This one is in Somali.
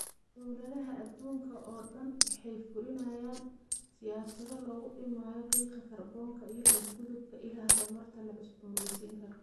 Dawladaha adduunka oo dhan waxay fulinayaan siyaasado lagu dhimayo qiiqa kaarboonka iyo u gudubka ilaha tamarta la cusboonaysiin karo.